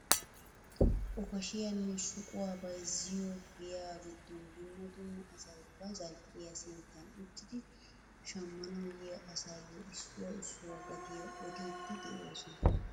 Okashiyaanne shuquwaa bayzziyo giyaa giddon dumma dumma asay ba zali'iyaa sinttan uttidi shammanawu yiyaa asayo issuwaa issuwaa gatiyaa odiidi de'oosona!